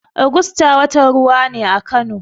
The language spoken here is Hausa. Ogusta watan ruwa ne a Kano.